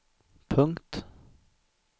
punkt